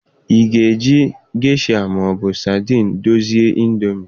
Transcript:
Ị ga-eji gesha ma ọ bụ sadin dozie indomie?